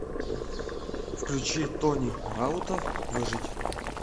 включи тони раута выжить